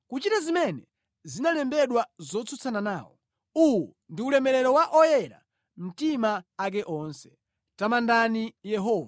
kuchita zimene zinalembedwa zotsutsana nawo Uwu ndi ulemerero wa oyera mtima ake onse. Tamandani Yehova.